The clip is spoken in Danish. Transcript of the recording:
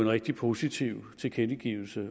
rigtig positiv tilkendegivelse